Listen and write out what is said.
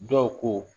Dɔw ko